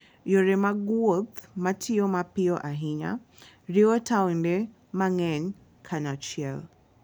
Yore mag wuoth matiyo mapiyo ahinya, riwo taonde mang'eny kanyachiel.